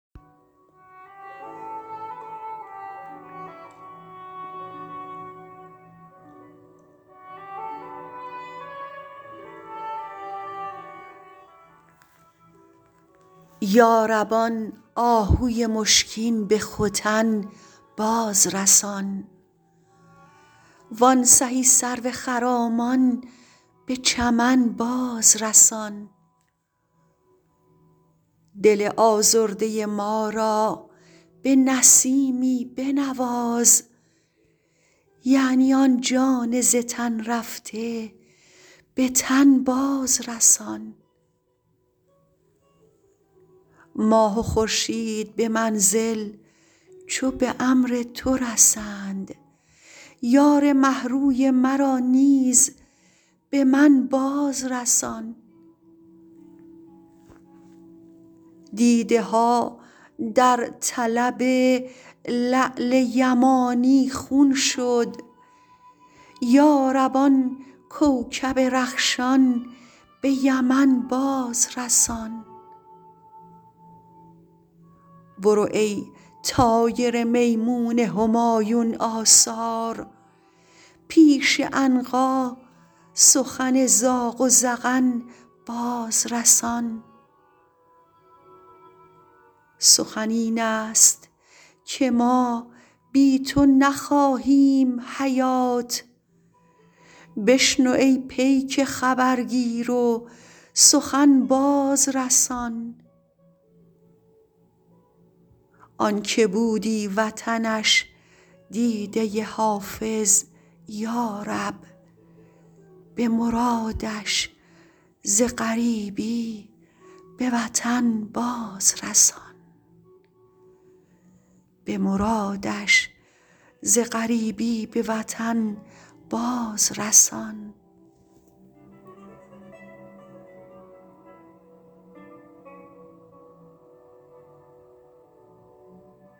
یا رب آن آهوی مشکین به ختن باز رسان وان سهی سرو خرامان به چمن باز رسان دل آزرده ما را به نسیمی بنواز یعنی آن جان ز تن رفته به تن باز رسان ماه و خورشید به منزل چو به امر تو رسند یار مه روی مرا نیز به من باز رسان دیده ها در طلب لعل یمانی خون شد یا رب آن کوکب رخشان به یمن باز رسان برو ای طایر میمون همایون آثار پیش عنقا سخن زاغ و زغن باز رسان سخن این است که ما بی تو نخواهیم حیات بشنو ای پیک خبرگیر و سخن باز رسان آن که بودی وطنش دیده حافظ یا رب به مرادش ز غریبی به وطن باز رسان